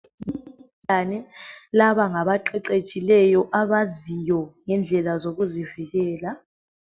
Laba ngabaqeqetshileyo abaziyo ngendlela zokuzivikela.